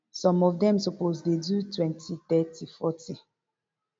some of dem suppose dey do twenty thirty forty